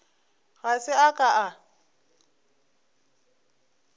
ga se a ka a